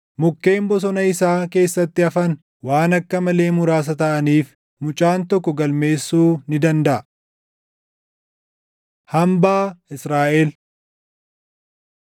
Mukkeen bosona isaa keessatti hafan waan akka malee muraasa taʼaniif mucaan tokko galmeessuu ni dandaʼa. Hambaa Israaʼel